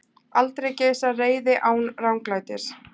Aldrei geisar reiði án ranglætis.